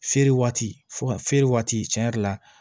Feere waati fo ka feere waati tiɲɛ yɛrɛ la